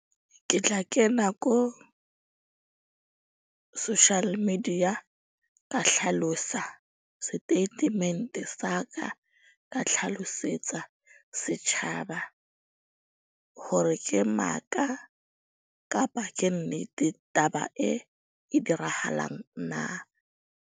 Ke tla kena ko social media ka hlalosa statement-e sa ka. Ka tlhalosetsa setjhaba, hore ke maka kapa ke nnete taba e e dirahalang na.